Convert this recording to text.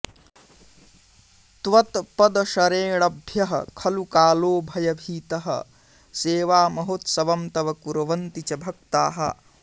त्वत्पदशरेणभ्यः खलु कालो भयभीतः सेवामहोत्सवम् तव कुर्वन्ति च भक्ताः